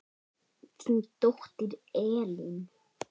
Þín dóttir, Elín.